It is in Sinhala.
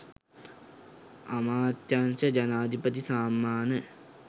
අමාත්‍යාංශ ජනාධිපති සම්මාන